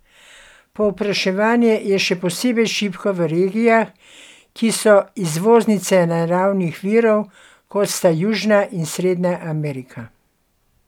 Povpraševanje je še posebej šibko v regijah, ki so izvoznice naravnih virov, kot sta južna in srednja Amerika.